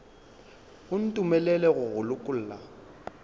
o ntumelele go go lokolla